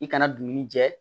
I kana dumuni jɛ